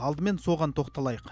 алдымен соған тоқталайық